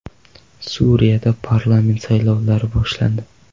Suriyada parlament saylovlari boshlandi.